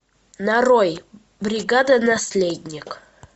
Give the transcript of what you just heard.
нарой бригада наследник